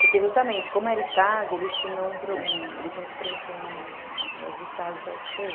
Porque, justamente, como era estágio, eles tinham que preencher um negócio de estágio com a esse pê eme.